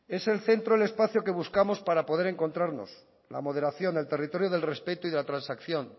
es el centro el espacio que buscamos para poder encontrarnos la moderación el territorio del respeto y la transacción